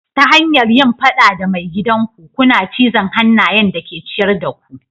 Ta hanyar yin fada da maigidan ku, kuna cizon hannayen da ke ciyar da ku.